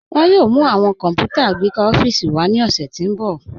Wọn yòò mú awọn kọ́nputà agbẹkà ọ̀fíìsì wá ni ọṣẹ̀ tí n bọ̀.